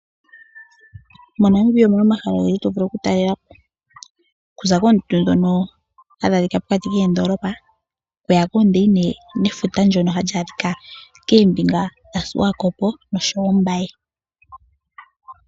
MoNamibia omu na omahala ogendji ngono to vulu okutalela po. Okuza koondundu ndhono hadhi adhika pokati koondoolopa okuya koondeina nefuta ndyoka hali adhika koombinga dhaSwakopo noshowo Ombaye.